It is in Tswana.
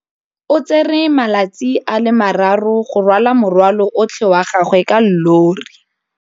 O tsere malatsi a le marraro go rwala morwalo otlhe wa gagwe ka llori.